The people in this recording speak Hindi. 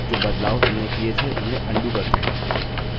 जो बदलाव हमने किए थे उन्हें अन्डू करते हैं